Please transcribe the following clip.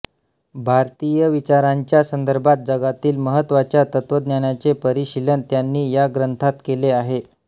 भारतीय विचारांच्या संदर्भात जगातील महत्त्वाच्या तत्त्वज्ञानाचे परिशीलन त्यांनी या ग्रंथात केले आहे